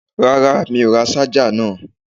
Rárá mi ò ra ṣájà náà.